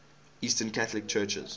eastern catholic churches